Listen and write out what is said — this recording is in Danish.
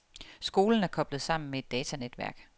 Skolen er koblet sammen med et datanetværk.